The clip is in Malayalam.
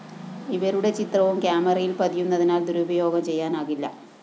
ഇവരുടെ ചിത്രവും ക്യാമറയില്‍ പതിയുന്നതിനാല്‍ ദുരുപയോഗം ചെയ്യാനാകില്ല